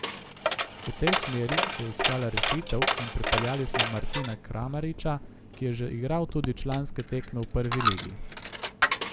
V tej smeri se je iskala rešitev in pripeljali smo Martina Kramariča, ki je že igral tudi članske tekme v prvi ligi.